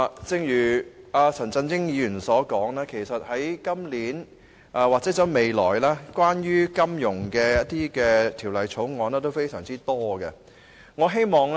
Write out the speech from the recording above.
正如陳振英議員所說，今年或未來提交立法會有關金融業的法案非常多。